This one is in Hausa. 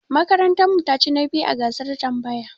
Makarantar mu ta chi na biyu a gasar tambaya.